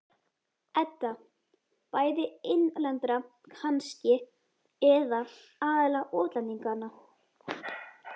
Edda: Bæði innlendra kannski, eða aðallega útlendinganna?